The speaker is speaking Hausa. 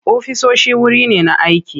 Ofisoshi wuri ne na aiki.